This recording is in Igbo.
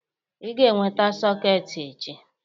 Ị ga-eweta sọketị echi!